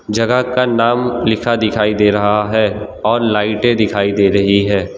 जगह का नाम लिखा दिखाई दे रहा है और लाइटे दिखाई दे रही है।